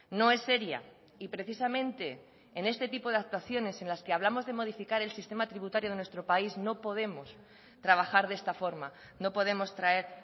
no es seria y precisamente en este tipo de actuaciones en las que hablamos de modificar el sistema tributario de nuestro país no podemos trabajar de esta forma no podemos traer